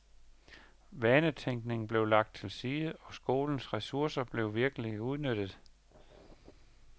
Vanetænkningen blev lagt til side og skolens ressourcer blev virkelig udnyttet.